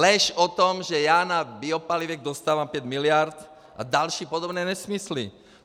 Lež o tom, že já na biopalivech dostávám pět miliard a další podobné nesmysly.